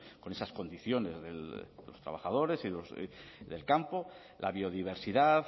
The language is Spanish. con esas condiciones de los trabajadores del campo la biodiversidad